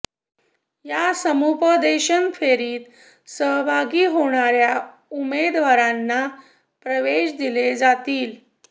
या समुपदेशन फेरीत सहभागी होणाऱ्या उमेदवारांना प्रवेश दिले जातील